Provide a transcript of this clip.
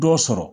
Dɔ sɔrɔ